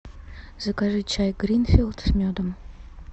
закажи чай гринфилд с медом